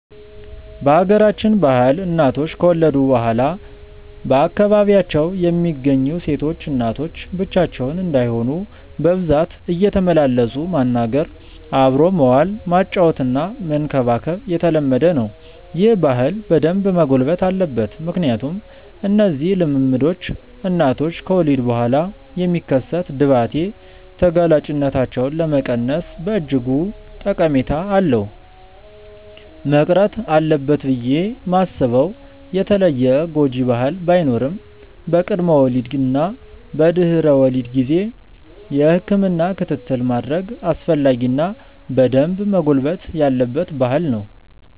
በሀገራችን ባህል እናቶች ከወለዱ በኋላ በአካባቢው የሚገኙ ሴቶች እናቶች ብቻቸውን እንዳይሆኑ በብዛት እየተመላለሱ ማናገር፣ አብሮ መዋል፣ ማጫወትና መንከባከብ የተለመደ ነው። ይህ ባህል በደንብ መጎልበት አለበት ምክንያቱም እነዚህ ልምምዶች እናቶች ከወሊድ በኋላ የሚከሰት ድባቴ ተጋላጭነታቸውን ለመቀነስ በእጅጉ ጠቀሜታ አለው። መቅረት አለበት ብዬ ማስበው የተለየ ጎጂ ባህል ባይኖርም በቅድመ ወሊድ እና በድህረ ወሊድ ጊዜ የህክምና ክትትል ማድረግ አስፈላጊ እና በደንብ መጎልበት ያለበት ባህል ነው።